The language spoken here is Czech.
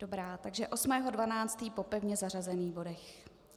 Dobrá, takže 8. 12. po pevně zařazených bodech.